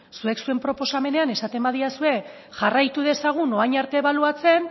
zuek zuen proposamenean esaten baldin badidazue jarraitu dezagun orain arte ebaluatzen